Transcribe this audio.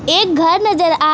एक घर नजर आ रहा--